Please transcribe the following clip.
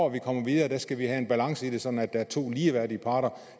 at komme videre skal have en balance i det sådan at der er to ligeværdige parter